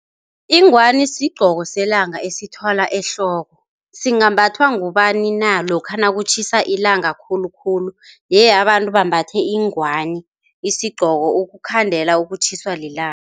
Ingwani sigqoko selanga esithwalwa ehloko, singambathwa ngubani na? lokha nakutjhisa ilanga khulukhulu ye, abantu bambathe ingwani, isigqoko ukukhandela ukutjhiswa lilanga.